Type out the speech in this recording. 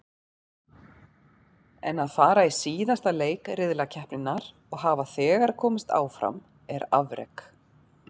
En að fara í síðasta leik riðlakeppninnar og hafa þegar komist áfram er afrek.